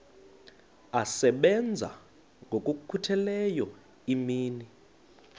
asebenza ngokokhutheleyo imini